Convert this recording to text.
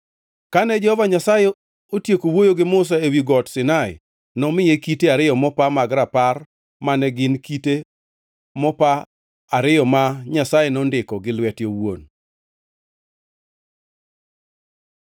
Kane Jehova Nyasaye otieko wuoyo gi Musa ewi Got Sinai nomiye kite ariyo mopa mag rapar mane gin kite mopa ariyo ma Nyasaye nondikoe gi lwete owuon.